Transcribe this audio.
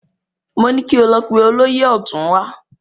Mo ní lọ pe olóyè ọ̀tún wá!